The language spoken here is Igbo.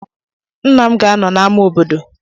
Nna m ga-anọ n'amá obodo.